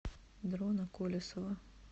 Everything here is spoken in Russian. дрона колесова